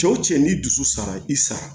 Cɛw cɛ ni dusu sara i sara